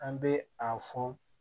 An bɛ a fɔ